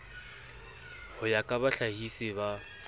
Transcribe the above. ho ya ka bohlahisi ba